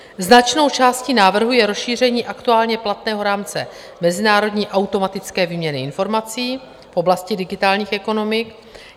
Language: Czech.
Značnou částí návrhu je rozšíření aktuálně platného rámce mezinárodní automatické výměny informací v oblasti digitálních ekonomik.